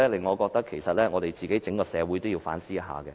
我認為整個社會應該反思一下。